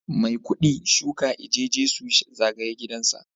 Maikudi shuka eje Jesu zagaye gidansa